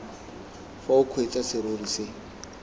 fa o kgweetsa serori se